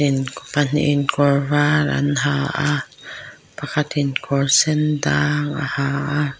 in pahnihin kawr var an ha a pakhatin kawr sen dang a ha a.